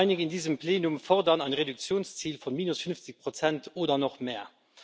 Einige in diesem Plenum fordern ein Reduktionsziel von minus 50 oder noch mehr.